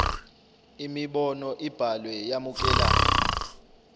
imibono ibhalwe yamukelana